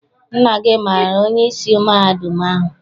Nna gị amaara onyeisi mahadum ahụ?